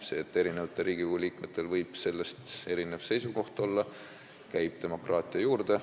See, et Riigikogu liikmetel võib selle kohta erinev seisukoht olla, käib demokraatia juurde.